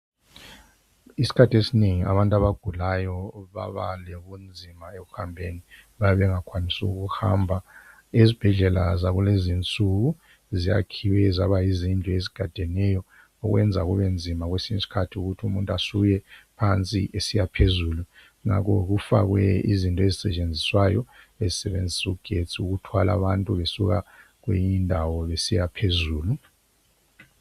Iskhathi esinengi abantu abagulayo babalobunzima ekuhambeni. Babengakwanisi ukuhamba. Iz'bhedlela zakulezi insuku ziyakhiwe zaba yizindlu ezigadeneyo, okwenza kube nzima kwesinye iskhathi ukuthi umuntu asuke phansi esiya phezulu. Ngakho kufakwe izinto ezisetshenziswayo ezisebenzisa ugetsi ukuthwala abantu besuka kweyinyindawo besiya phezulu